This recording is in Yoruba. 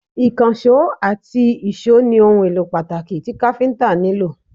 ikanṣo ati ìsó ni ohun elo pataki ti Káfíntà nilo